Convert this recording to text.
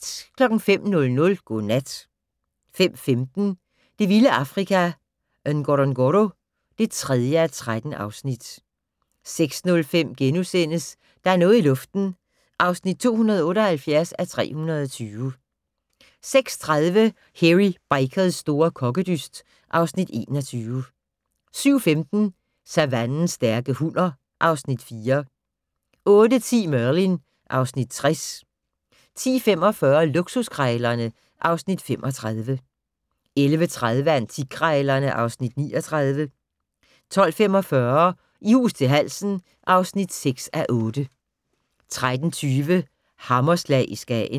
05:00: Godnat 05:15: Det vilde Afrika - Ngorongoro (3:13) 06:05: Der er noget i luften (278:320)* 06:30: Hairy Bikers' store kokkedyst (Afs. 21) 07:15: Savannens stærke hunner (Afs. 4) 08:10: Merlin (Afs. 60) 10:45: Luksuskrejlerne (Afs. 35) 11:30: Antikkrejlerne (Afs. 39) 12:45: I hus til halsen (6:8) 13:20: Hammerslag i Skagen